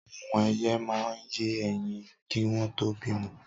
Awọn ẹ̀iyẹ̀ mà n yé ẹ̀yín kiwòn tó bimọ̀